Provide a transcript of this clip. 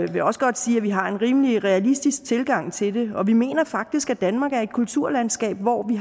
vil også godt sige at vi har en rimelig realistisk tilgang til det og vi mener faktisk at danmark er et kulturlandskab hvor vi